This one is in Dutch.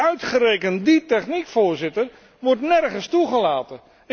Maar uitgerekend die techniek, Voorzitter, wordt nergens toegelaten.